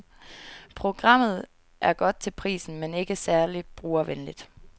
Programmet er godt til prisen men ikke særlig brugervenligt.